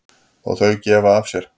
Og þau gefa af sér.